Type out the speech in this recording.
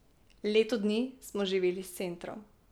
Leto dni smo živeli s centrom.